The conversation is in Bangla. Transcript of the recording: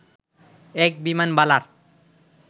এক বিমানবালার